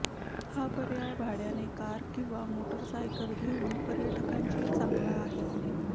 हा पर्याय भाड्याने कार किंवा मोटारसायकल घेऊन पर्यटकांचे चांगला आहे